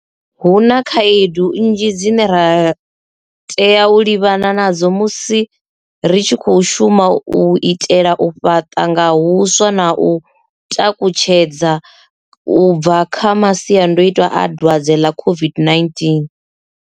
Hu na khaedu nnzhi dzine ra tea u livhana nadzo musi ri tshi khou shuma u itela u fhaṱa nga huswa na u takutshedza u bva kha masiandaitwa a dwadze ḽa COVID-19.